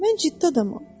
Mən ciddi adamam.